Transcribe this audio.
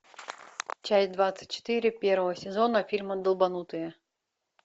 часть двадцать четыре первого сезона фильма долбанутые